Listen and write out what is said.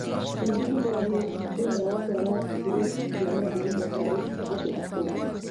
Gwĩthugumĩra nĩ thĩna wa kwaga brĩki cia mathugumo harĩ andũ akũrũ